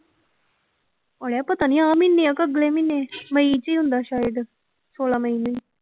ਓਏ ਪਤਾ ਨੀ ਆਹ ਮਹੀਨੇ ਆਂ ਕਿ ਅਗਲੇ ਮਹੀਨੇ ਮਈ ਚ ਹੁੰਦਾ ਸ਼ਾਇਦ, ਛੋਲਾਂ ਮਈ ਨੂੰ।